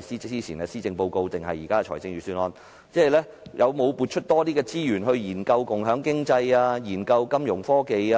早前的施政報告或現時的預算案，有否撥出更多資源研究共享經濟、金融科技、